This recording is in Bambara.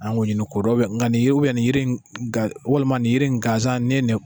An k'o ɲini k'o dɔn nka nin u ye walima nin yiri gansan n'i ye nin